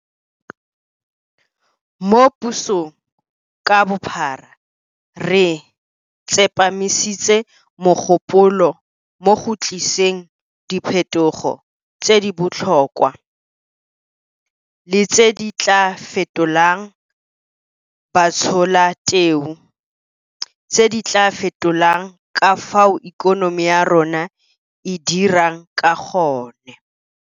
Mo pusong ka bophara re tsepamisitse mogopolo mo go tliseng diphetogo tse di botlhokwa le tse di tla fetolang batsholateu, tse di tla fetolang ka fao ikonomi ya rona e dirang ka gone.